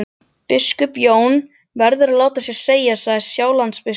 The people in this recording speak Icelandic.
Biskup Jón verður að láta sér segjast, sagði Sjálandsbiskup.